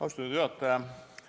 Austatud juhataja!